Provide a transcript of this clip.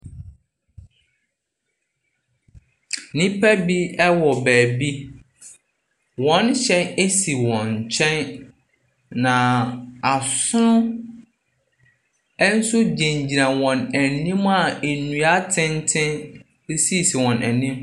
Nnipa bi wɔ baabi. Wɔn hyɛn si wɔn nkyɛn, na asono nso gyinagyina wɔn anim a nnua atenten sisi wɔn anim.